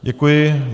Děkuji.